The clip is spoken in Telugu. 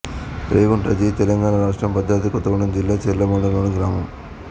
రేగుంట జి తెలంగాణ రాష్ట్రం భద్రాద్రి కొత్తగూడెం జిల్లా చర్ల మండలంలోని గ్రామం